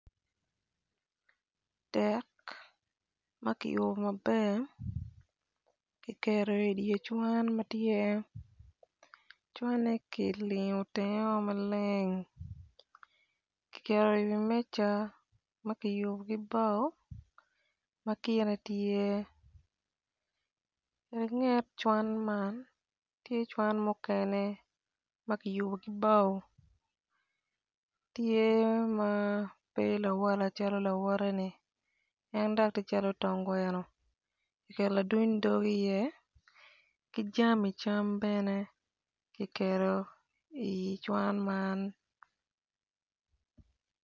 Dek ma ki yubu maber kiketo idyer cwan ma tyero cwanne ki lingo tengeo maleng ki keto i wi meca ma kiyubu ki bao ma kine tye langet cwan man tye cwan mukene ma kiyubu bao tye ma pe lawala calo lawote-ni en dok ti calo tonggweno ki keto laduny dog iye ki jami cam bene ki keto icwan man